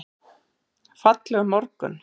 Fallegur morgun!